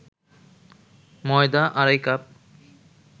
ময়দা আড়াই কাপ